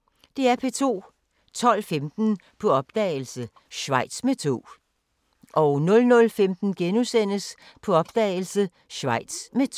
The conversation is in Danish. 12:15: På opdagelse – Schweiz med tog 00:15: På opdagelse – Schweiz med tog *